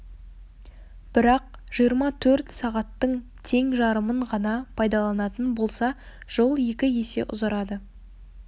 бірақ жиырма төрт сағаттың тең жарымын ғана пайдаланатын болса жол екі есе ұзарады